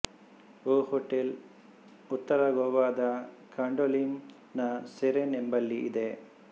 ಓ hotel ಉತ್ತರ ಗೋವಾದ ಕಾಂಡೋಲಿಮ್ ನ ಸೆರೆನ್ ಎಂಬಲ್ಲಿ ಇದೆ